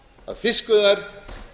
að fiskveiðar